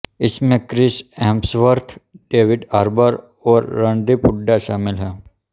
इसमें Chris Hemsworth David Harbour और रणदीप हुड्डा शामिल हैं